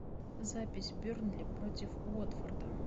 запись бернли против уотфорда